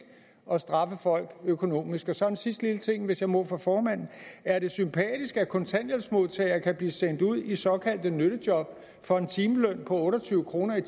at straffe folk økonomisk så en sidste lille ting hvis jeg må for formanden er det sympatisk at kontanthjælpsmodtagere kan blive sendt ud i såkaldte nyttejob for en timeløn på otte og tyve kr